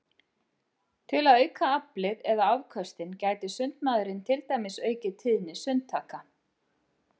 Til að auka aflið eða afköstin gæti sundmaðurinn til dæmis aukið tíðni sundtaka.